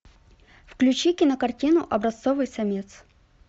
включи кинокартину образцовый самец